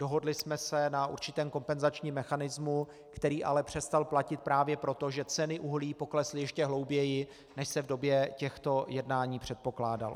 Dohodli jsme se na určitém kompenzačním mechanismu, který ale přestal platit právě proto, že ceny uhlí poklesly ještě hlouběji, než se v době těchto jednání předpokládalo.